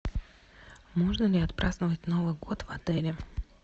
можно ли отпраздновать новый год в отеле